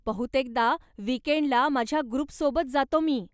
बहुतेकदा विकेंडला मझ्या ग्रुपसोबत जातो मी.